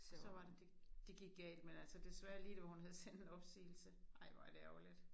Og så var det det gik galt men altså desværre lige da hun havde sendt en opsigelse. Ej hvor er det ærgerligt